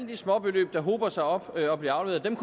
de småbeløb der hober sig op og bliver afleveret